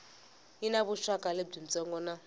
yi na vuxaka byitsongo na